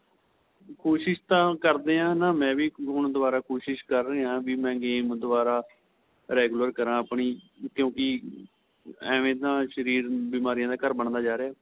ਕੋਸ਼ਿਸ਼ ਤਾਂ ਕਰਦੇ ਆਂ ਨਾ ਮੈਂਵੀ ਦੁਬਾਰਾ ਕੋਸ਼ਿਸ਼ ਕਰ ਰਿਹਾ ਆਂ ਵੀ ਮੈਂ game ਦੁਬਾਰਾ regular ਕਰਾ ਆਪਣੀ ਕਿਉਂਕਿ ਐਵੇ ਨਾ ਸ਼ਰੀਰ ਬਿਮਾਰੀਆਂ ਦਾ ਘਰ ਬਣਦਾ ਜਾਂ ਰਿਹਾ ਏ